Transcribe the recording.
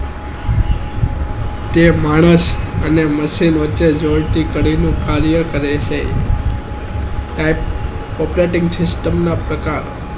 તે માણસ અને machine ને દોસ્તી કરે કાર્ય કરે છે operating system ના પ્રકાર